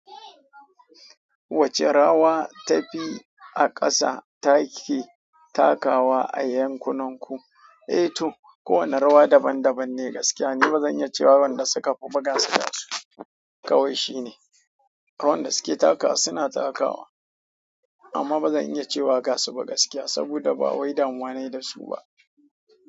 Wacce rawa ta fi a ƙasa take takawa a yankunan ku? Eh to, kowane rawa daban daban ne gaskiya. Ni ba zan iya cewa wadanda suka fi ba ga su gasu kawai shine. Wanda suke takawa suna takawa amma bazan iya cewa gasu ba gaskiya saboda ba wai damuwa nayi dasu ba.